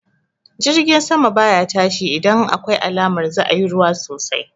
Jirgi sama baya tashi idan akwai alamar za'a yi ruwa sosai